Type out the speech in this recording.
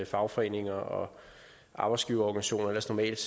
fagforeninger og arbejdsgiverorganisationer ellers normalt